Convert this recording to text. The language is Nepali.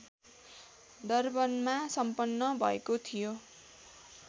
डर्बनमा सम्पन्न भएको थियो